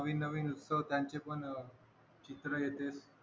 नवीन नवीन उत्सव त्यांचे पण अह चित्र येतात